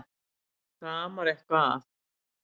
Það amar eitthvað að.